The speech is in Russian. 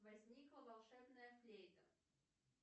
возникла волшебная флейта